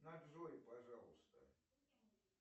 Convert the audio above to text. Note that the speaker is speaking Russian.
на джой пожалуйста